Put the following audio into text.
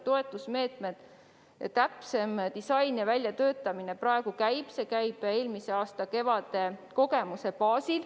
Toetusmeetmete täpsem disain ja väljatöötamine praegu käib, see toimub eelmise aasta kevade kogemuse baasil.